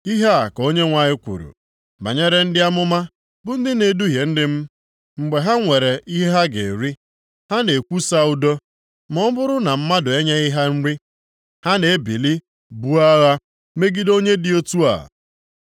Ihe a ka Onyenwe anyị kwuru: “Banyere ndị amụma bụ ndị na-eduhie ndị m, mgbe ha nwere ihe ha ga-eri, ha na-ekwusa ‘Udo’ ma ọ bụrụ na mmadụ enyeghị ha nri, ha na-ebili buo agha + 3:5 Nʼakwụkwọ ụfọdụ ha na-ede agha nsọ megide onye dị otu a.